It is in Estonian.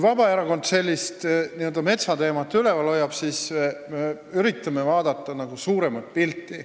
Vabaerakond hoiab metsateemat üleval seepärast, et me üritame vaadata suuremat pilti.